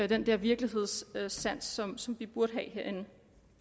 den virkelighedssans som som vi burde have herinde